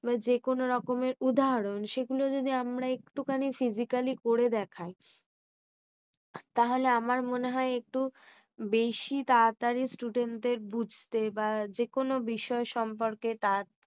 যে কোনো রকমের উদাহরণ সেগুলো যদি আমরা একটু খানি psysically করে দেখায়। তাহলে আমার মনে হয়। একটু বেশি তাড়াতাড়ি student দের বুঝতে, বা যে কোনো বিষয় সম্পর্কে তাড়াতাড়ি